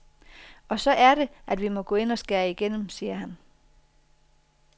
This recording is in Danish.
Og så er det, at vi må gå ind og skære igennem, siger han.